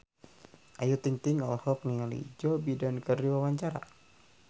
Ayu Ting-ting olohok ningali Joe Biden keur diwawancara